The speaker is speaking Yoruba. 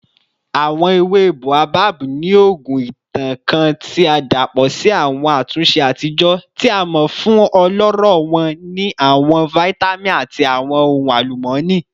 Awọn ewe Boabab ni ogún itan kan ti a dapọ si awọn atunṣe atijọ, ti a mọ fun ọlọrọ wọn ni awọn vitamin ati awọn ohun alumọni.